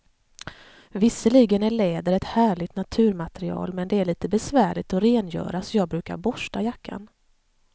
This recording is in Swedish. Visserligen är läder ett härligt naturmaterial, men det är lite besvärligt att rengöra, så jag brukar borsta jackan.